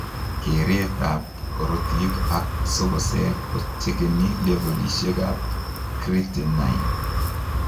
Kereet ab korotik ak sogoseek kochekeni levolosiek ab creatinine